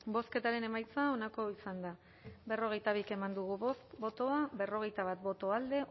bozketaren emaitza onako izan da berrogeita bi eman dugu bozka berrogeita bat boto alde